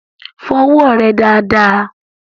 Fọ ọwọ́ rẹ dáadáa!